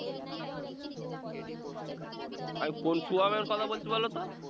আমি কোন শুভমের কথা বলছি বলতো?